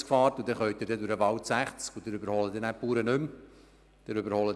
Durch den Wald können Sie noch 60 km/h fahren, wobei Sie die Bauern dann nicht mehr überholen würden.